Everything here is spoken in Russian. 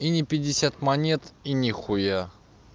и не пятьдесят монет и нихуя